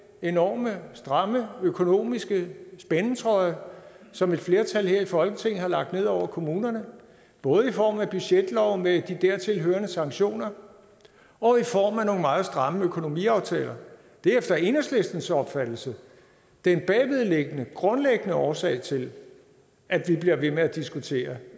enormt stramme økonomiske spændetrøje som et flertal her i folketinget har lagt ned over kommunerne både i form af budgetloven med de dertilhørende sanktioner og i form af nogle meget stramme økonomiaftaler det er efter enhedslistens opfattelse den bagvedliggende grundlæggende årsag til at vi bliver ved med at diskutere